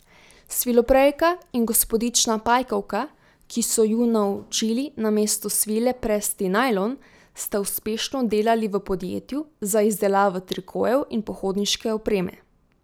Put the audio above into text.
Sviloprejka in gospodična Pajkovka, ki so ju naučili namesto svile presti najlon, sta uspešno delali v podjetju za izdelavo trikojev in pohodniške opreme.